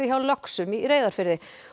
hjá löxum í Reyðarfirði